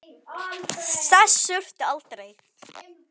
Þess þurfti ekki.